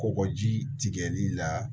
Kɔkɔji tigɛli la